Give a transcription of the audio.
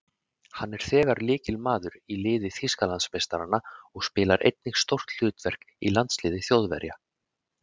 Hann er þegar lykilmaður í liði Þýskalandsmeistaranna og spilar einnig stórt hlutverk í landsliði Þjóðverja.